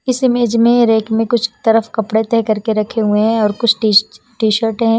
इस इमेज में रेक में कुछ तरफ कपड़े तय करके रखे हुए हैंऔर कुछ टी टी_शर्ट हैं।